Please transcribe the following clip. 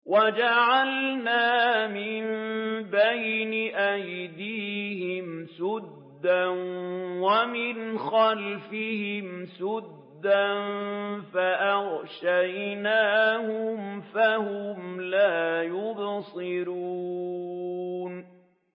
وَجَعَلْنَا مِن بَيْنِ أَيْدِيهِمْ سَدًّا وَمِنْ خَلْفِهِمْ سَدًّا فَأَغْشَيْنَاهُمْ فَهُمْ لَا يُبْصِرُونَ